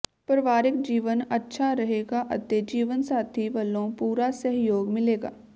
ਪਰਵਾਰਿਕ ਜੀਵਨ ਅੱਛਾ ਰਹੇਗਾ ਅਤੇ ਜੀਵਨਸਾਥੀ ਵਲੋਂ ਪੂਰਾ ਸਹਿਯੋਗ ਮਿਲੇਗਾ